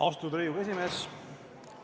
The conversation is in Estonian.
Austatud Riigikogu esimees!